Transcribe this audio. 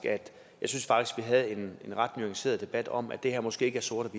vi havde en ret nuanceret debat om at det her måske ikke er sort